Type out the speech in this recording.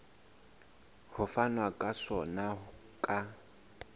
ho fanwa ka sona ka